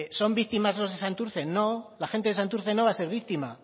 son víctimas los de santurce no la gente de santurce no va a ser víctima